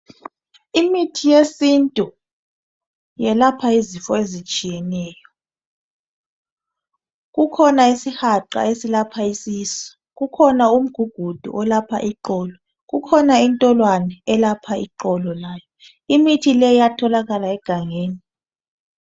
Imithi yesintu iyelapha izifo ezitshiyeneyo. Kukhona isihaqa esilapha isisu, kukhona umgugudu olapha iqolo, kukhona intolwane elapha iqolo layo. Imithi le iyatholakala egangeni.